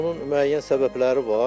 Bunun müəyyən səbəbləri var.